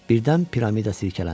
Birdən piramida silkələndi.